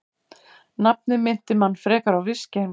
Nafnið minnti mann frekar á viskí en fótbolta.